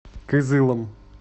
кызылом